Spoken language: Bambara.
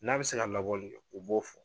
N'a bɛ se ka labɔli kɛ u b'o fɔ.